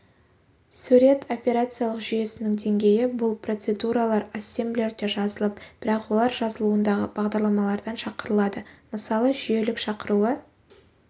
сурет операциялық жүйесінің деңгейі бұл процедуралар ассемблерде жазылып бірақ олар жазылуындағы бағдарламалардан шақырылады мысалы жүйелік шақыруы